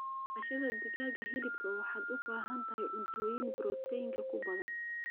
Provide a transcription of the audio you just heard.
Daqashadhaa digaaga hilibka waxaad ubahantahay cuntoyinka protainka kubadhaan.